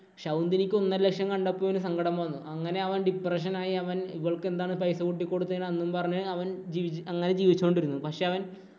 ശകുന്തിനിക്ക് ഒന്നര ലക്ഷം കണ്ടപ്പോള്‍ ഇവന് സങ്കടം വന്നു. അങ്ങനെ അവന്‍ depression ആയി അവന്‍ ഇവള്‍ക്ക് എന്താണ് പൈസ കൂട്ടി കൊടുത്തതിനു എന്നും പറഞ്ഞു അവന്‍ അങ്ങനെ ജീവിച്ചു കൊണ്ടിരുന്നു. പക്ഷേ അവന്‍